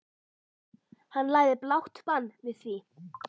Hann lagði blátt bann við því.